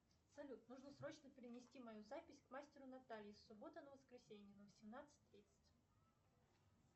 салют нужно срочно перенести мою запись к мастеру наталье с субботы на воскресенье на восемнадцать тридцать